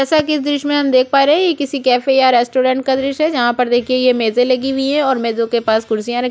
जैसा कि इस दॄश्य में हम देख पा रहे है ये किसी कैफे या रेस्टोरेंट का दॄश्य है जहाँ पर देखिए ये मेजॆ लगी हुई है और मेजों के पास कुर्सीयाँ रखी --